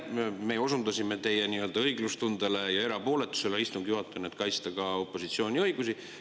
Me osundasime teie õiglustundele ja erapooletusele istungi juhatajana, et kaitsta ka opositsiooni õigusi.